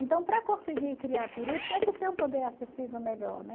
Então para conseguir criar peru tinha que ter um poder acessível melhor, né?